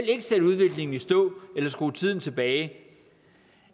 ikke sætte udviklingen i stå eller skrue tiden tilbage